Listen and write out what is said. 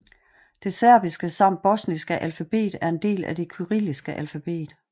Det serbiske samt bosniske alfabet er en del af det kyrilliske alfabet